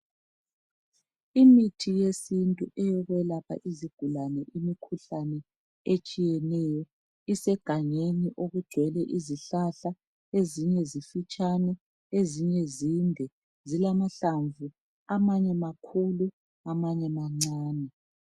Imithi eyesintu eyokwelapha izigulani imikhuhlane etshiyeneyo isegangeni okugcwele izihlahla ezinye zimfitshane ezinye zinde, zilamahlamvu amanye makhulu amanye mancane.